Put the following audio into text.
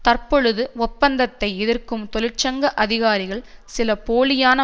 தற்பொழுது ஒப்பந்தத்தை எதிர்க்கும் தொழிற்சங்க அதிகாரிகள் சில போலியான